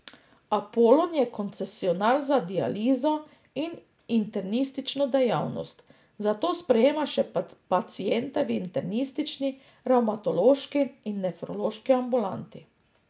Apolon je koncesionar za dializo in internistično dejavnost, zato sprejema še paciente v internistični, revmatološki in nefrološki ambulanti.